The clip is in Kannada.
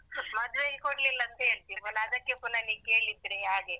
ಮದ್ವೆಗೆ ಕೊಡ್ಲಿಲ್ಲ ಅಂತ ಹೇಳ್ತಿ ಪುನಃ ಅದಕ್ಕೆ ಪುನಃ ನೀ ಕೇಳಿದ್ರೆ ಹಾಗೆ.